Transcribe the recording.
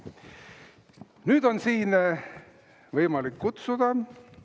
Nüüd on siia võimalik kutsuda …